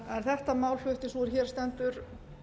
en þetta mál flutti sú er hér stendur